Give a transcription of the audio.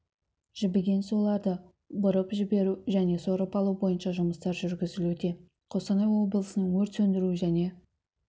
жібіген суларды бұрып жіберу және сорып алу бойынша жұмыстар жүргізілуде қостанай облысының өрт сөндіру және